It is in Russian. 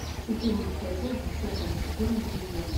четырнадцатая часть десятого сезона друзья